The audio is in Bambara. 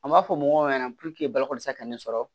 An b'a fɔ mɔgɔw ɲɛna bakɔlisa ka ne sɔrɔ